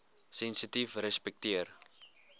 sensitiefrespekteer